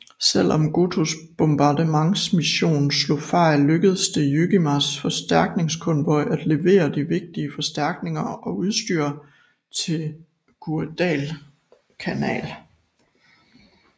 Selv om Gotōs bombardmentsmission slog fejl lykkedes det Jojimas forstærkningskonvoj at levere de vigtige forstærkninger og udstyr til Guadalcanal